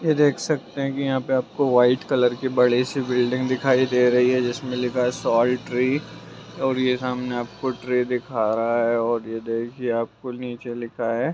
ये देख सकते हैं कि यहाँ पे आपको वाइट कलर की बड़ी सी बिल्डिंग दिखाई दे रही है जिसमें लिखा है सॉल ट्री और ये सामने आपको ट्री दिखा रहा है और ये देखिए आपको नीचे लिखा है।